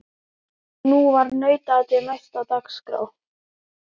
Og nú var nautaatið næst á dagskrá.